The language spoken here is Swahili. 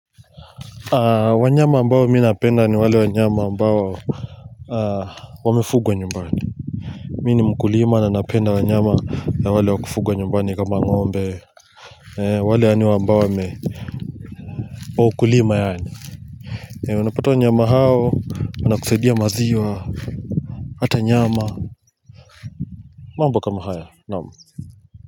Wanyama ambayo mi napenda ni wale wanyama ambayo wamefugwa nyumbani. Mi ni mkulima na napenda wanyama na wale wa kufugwa nyumbani kama ngombe. Wale yani ambao wame wa ukulima yani unapata wanyama hao wanakusaidia maziwa. Hata nyama. Mambo kama haya naam. Kwa hivyo.